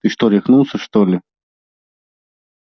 ты что рехнулся что ли